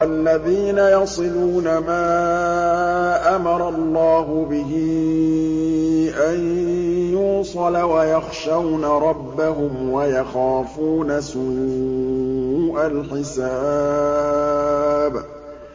وَالَّذِينَ يَصِلُونَ مَا أَمَرَ اللَّهُ بِهِ أَن يُوصَلَ وَيَخْشَوْنَ رَبَّهُمْ وَيَخَافُونَ سُوءَ الْحِسَابِ